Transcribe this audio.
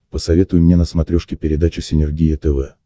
посоветуй мне на смотрешке передачу синергия тв